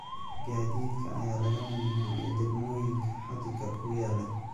Gaadiidka ayaa laga mamnuucay degmooyinka xadka ku yaala.